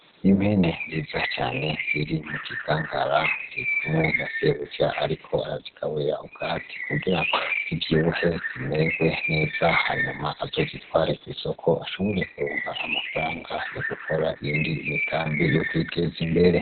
Impene nziza cane ziri mu kigangara. Ziri kumwe na sebuja; ariko arazigaburira ubwatsi kugira zivyibuhe zimererwe neza, hanyuma azozitware kw'isoko ashobore kuronka amafaranga yo gukora iyindi migambi yo kwiteza imbere.